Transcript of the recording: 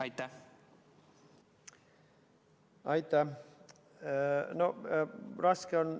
Aitäh!